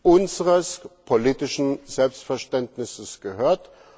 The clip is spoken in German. unseres politischen Selbstverständnisses gehört.